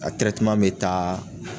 A bi taa